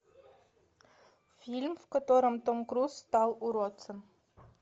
фильм в котором том круз стал уродцем